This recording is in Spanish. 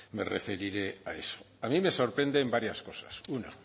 me referiré a eso a mí me sorprenden varias cosas una